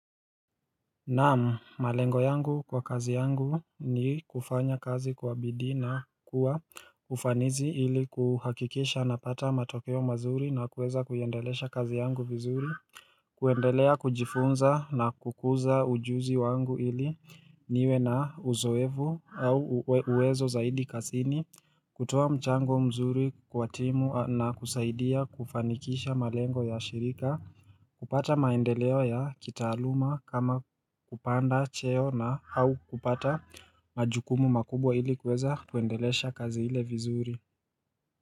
Naam, malengo yangu kwa kazi yangu ni kufanya kazi kwa bidii na kuwa kufanizi ili kuhakikisha napata matokeo mazuri na kuweza kuiendelesha kazi yangu vizuri kuendelea kujifunza na kukuza ujuzi wangu ili niwe na uzoevu au uwezo zaidi kasini kutoa mchango mzuri kwa timu na kusaidia kufanikisha malengo ya shirika kupata maendeleo ya kitaaluma kama kupanda cheo na au kupata majukumu makubwa ili kuweza kuendelesha kazi ile vizuri.